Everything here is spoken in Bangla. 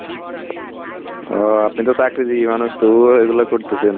ও আপনি তো চাকরিজীবি মানুষ তবুও এই গুলা করতেছেন।